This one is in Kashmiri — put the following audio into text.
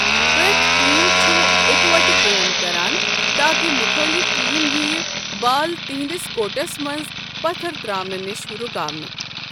پرٮ۪تھ ٹیم چھُ اکۄٹہٕ کٲم کران تاکہ مُخٲلف ٹیم ییہِ بال تہنٛدِس کورٹس منٛز پتھر تراونہِ نِش رُکاونہٕ۔